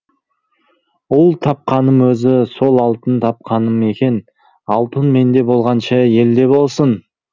ұл тапқаным өзі сол алтын тапқаным екен алтын менде болғанша елде болсын